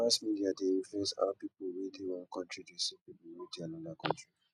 mass media de influence how pipo wey de one country de see pipo wey de another country